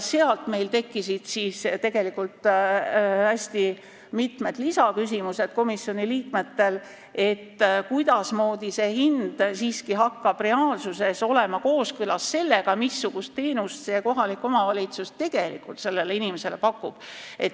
Komisjoni liikmetel tekkis hästi mitmeid lisaküsimusi, et kuidas see hind siiski hakkab reaalsuses olema kooskõlas sellega, missugust teenust see kohalik omavalitsus tegelikult sellele inimesele pakub.